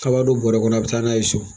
A b'a don bɔrɛ kɔnɔ a bɛ taa n'a ye so